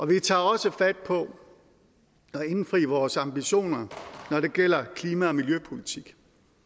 vi tager også fat på at indfri vores ambitioner når det gælder klima og miljøpolitik